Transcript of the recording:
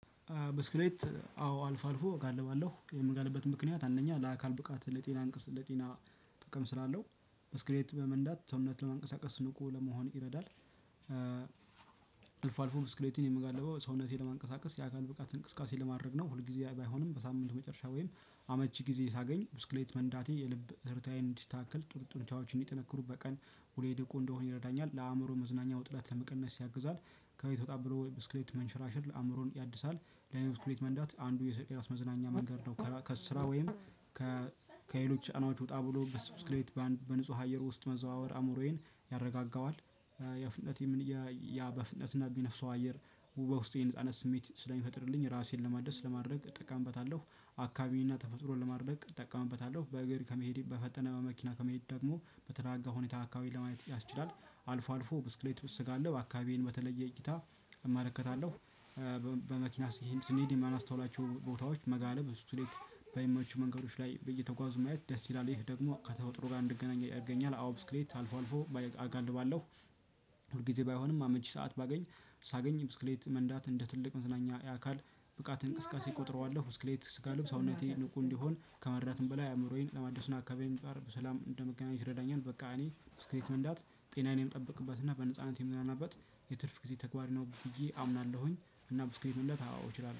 ብስክሌት አዎ አልፎ አልፎ እጋልባለሁ። የምጋልብበት ምክንያት አንደኛ ለአካል ብቃት ለጤና ጥቅም ስላለው። ብስክሌት በመንዳት ሰውነት ለመንቀሳቀስ ንቁ ለመሆን ይረዳል። አልፎ አልፎ ብስክሌትን የምጋለበው ሰውነቴን ለማንቀሳቀስ የአካል ብቃት እንቅስቃሴ ለማድረግ ነው። ሁልጊዜ ባይሆንም በሳምንቱ መጨረሻ ወይም አመቺ ጊዜ ሳገኝ ብስክሌት መንዳቴ የልብ ትርታዬ እንዲስተካከል ጥሩ ጡንቻዎች እንዲጠነክሩ በቀን ሁሌ ንቁ እንድሆን ይረዳኛል። ለአእምሮ መዝናኛ ውጥረት ለመቀነስ ያግዛል። ከቤት ወጣ ብሎ ብስክሌት መንሸራሸር አእምሮን ያድሳል። ለእኔ ብስክሌት መንዳት አንዱ የራስ መዝናኛ መንገድ ነው። ከስራ ወይም ከሌሎች ጫናዎች ወጣ ብሎ ብስክሌት በአንድ በንጹህ አየር ውስጥ መዘዋወር አእምሮዬን ያረጋጋዋል። የፍጥነት ያ በፍጥነት የሚነፍሰው አየር በውስጤ ነጻነት ስሜት ስለሚፈጥርልኝ፣ ራሴን ለማደስ ለማድረግ እጠቀምበታለሁ። አካባቢን እና ተፈጥሮን ለማድነቅ እጠቀምበታለሁ። በእግር ከመሄድ በፈጠነ በመኪና ከመሄድ ደግሞ በተረጋጋ ሁኔታ አካባቢን ለማየት ያስችላል። አልፎ አልፎ ብስክሌት ስጋልብ አካባቢዬን በተለየ እይታ እመለከታለሁ። በመኪና ስኔድ የማናስተውላቸው ቦታዎች መጋለብ ለብስክሌት በሚመቹ መንገዶች ላይ እየተጎዙ ማየት ደስ ይላል። ይህ ደግሞ ከተፈጥሮ ጋር እንድገናኝ ያደርገኛል። አዎ ብስክሌት አልፎ አልፎ እጋልባለሁ። ሁል ጊዜ ባይሆንም አመቺ ሰዓት ባገኝ ሳገኝ ብስክሌት መንዳት እንደ ትልቅ መዝናኛ የአካል ብቃት እንቅስቀሴ እቆጥረዋለሁ። ብስክሌት ስጋልብ ሰውነቴ ንቁ እንዲሆን ከመርዳትም በላይ፣ አእምሮዬን ለማደስና አካባቢዬን በሰላም እንደምገናኘት ይረዳኛል። በቃ እኔ ብስክሌት መንዳት ጤናዬን የምጠብቅበት እና በነጻነት የምዝናናበት የትርፍ ጊዜ ተግባሬ ነው ብዬ አምናለሁኝ። እና ብስክሌት መንዳት አዎ እችላለሁ።